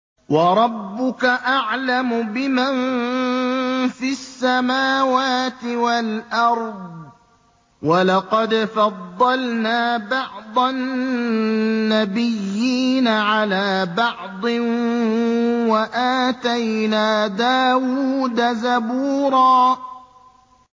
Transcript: وَرَبُّكَ أَعْلَمُ بِمَن فِي السَّمَاوَاتِ وَالْأَرْضِ ۗ وَلَقَدْ فَضَّلْنَا بَعْضَ النَّبِيِّينَ عَلَىٰ بَعْضٍ ۖ وَآتَيْنَا دَاوُودَ زَبُورًا